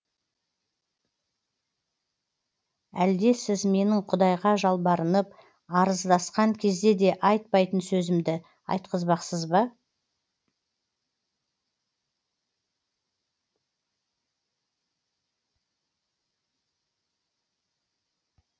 әлде сіз менің құдайға жалбарынып арыздасқан кезде де айтпайтын сөзімді айтқызбақсыз ба